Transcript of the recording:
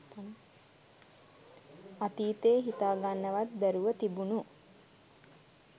අතීතෙ හිතාගන්නවත් බැරුව තිබුණු